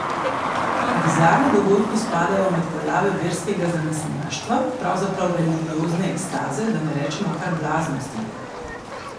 Bizarni dogodki spadajo med pojave verskega zanesenjaštva, pravzaprav religiozne ekstaze, da ne rečemo kar blaznosti.